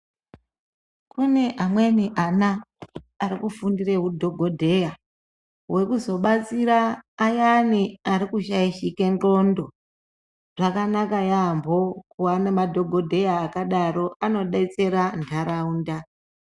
Kune amweni ana arikufundire hudhokodheya hwekuzobatsira ayani arikushaishike ndxondo. Zvakanaka yambo kuva nemadhokodheya akadaro anodetsera ntaraunda.